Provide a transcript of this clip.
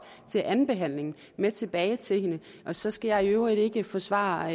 til andenbehandlingen med tilbage til hende og så skal jeg i øvrigt ikke forsvare